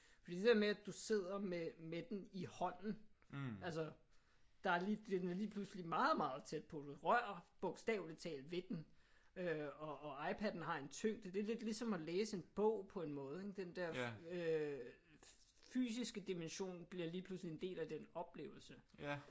Fordi det der med at du sidder med med den i hånden. Altså der er lige den er lige pludselig meget meget tæt på. Du rører bogstaveligt talt ved den. Øh og og iPaden har en tyngde. Det er lidt ligesom at læse en bog på en måde ik? Den der øh fysiske dimension bliver lige pludselig en del af den oplevelse